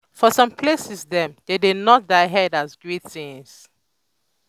for some places dem dey nod their head as greeting